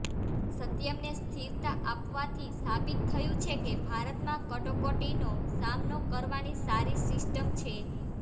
સત્યમને સ્થિરતા આપવાથી સાબિત થયું છે કે ભારતમાં કટોકટીનો સામનો કરવાની સારી સિસ્ટમ છે